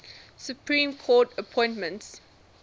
supreme court appointments